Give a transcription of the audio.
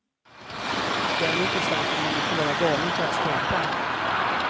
Därmed inte sagt att man måste vara galen för att skapa.